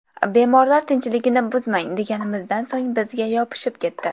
Bemorlar tinchligini buzmang deganimizdan so‘ng bizga yopishib ketdi.